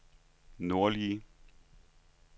nordlige